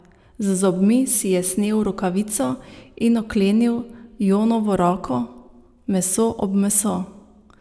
Z zobmi si je snel rokavico in oklenil Jonovo roko, meso ob meso.